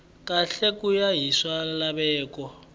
kahle ku ya hi swilaveko